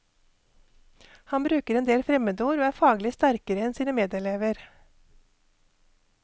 Han bruker endel fremmedord og er faglig sterkere enn sine medelever.